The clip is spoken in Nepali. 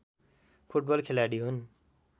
फुटबल खेलाडी हुन्